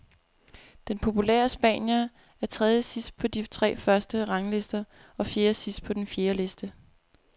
Den populære spanier er trediesidst på de tre første ranglister og fjerdesidst på den fjerde liste.